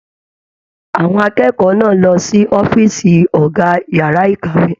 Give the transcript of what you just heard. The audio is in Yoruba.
Àwọn akẹ́kọ̀ọ́ náà lọ sí ọ̀fiísí ọgá yàrá ìkàwé.